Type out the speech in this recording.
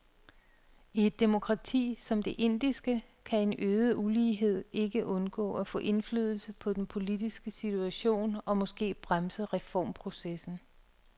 I et demokrati som det indiske kan en øget ulighed ikke undgå at få indflydelse på den politiske situation og måske bremse reformprocessen.